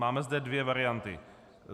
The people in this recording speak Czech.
Máme zde dvě varianty.